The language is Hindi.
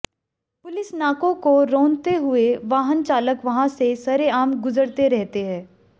पुलिस नाकों को रौंदते हुए वाहन चालक वहां से सरेआम गुजरते रहते हैं